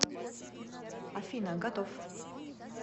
афина готов